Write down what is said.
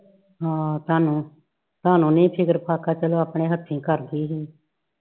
ਹਾ ਤੁਹਾਨੂੰ ਤੁਹਾਨੂੰ ਨੀ ਫਿਕਰ ਫਾਕਰ ਚਲੋ ਆਪਣੇ ਹੱਥੀ ਕਰ ਗਈ ਹੀ